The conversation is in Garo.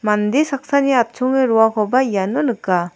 mande saksani atchonge roakoba iano nika.